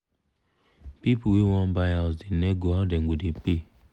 pipu wey wan buy house da nego how dem go da pay